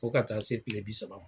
Fo ka taa se kile bi saba ma